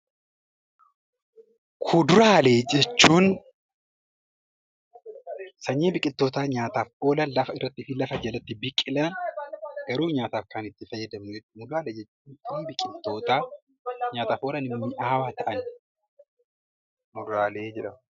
Kuduraalee jechuun sanyii biqiltoota nyaataaf oolan lafa irratti fi lafa jalatti biqilan garuu nyaataaf itti fayyadamnu jechuudha. Muduraalee jechuun immoo biqiltoota nyaataaf oolan mi'aawaa ta'an muduraalee jedhamu.